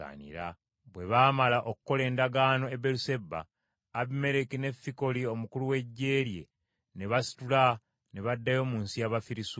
Bwe baamala okukola endagaano e Beeruseba, Abimereki ne Fikoli omukulu w’eggye lye ne basitula ne baddayo mu nsi y’Abafirisuuti.